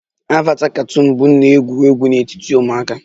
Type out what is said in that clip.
Avata katuunu bụ nnọọ ewu ewu n'etiti ụmụaka